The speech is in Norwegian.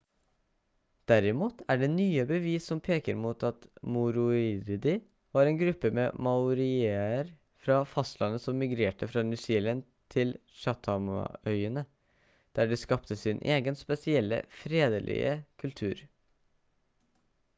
derimot er det nye bevis som peker mot at moriori var en gruppe med maorier fra fastlandet som migrerte fra new zealand til chathamøyene der de skapte sin egen spesielle fredelige kultur